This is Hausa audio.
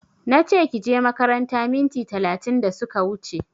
Nache kije makaranta minti talatin da suka wuche